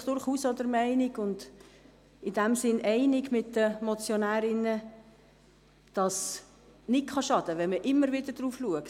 Aber ich bin auch der Meinung und in diesem Sinn einig mit den Motionärinnen, dass es nicht schadet, wenn man stets darauf achtet.